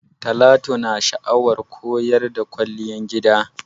Talatu na sha'awar koyan Kwalliyar gida.